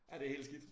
Ja det helt skidt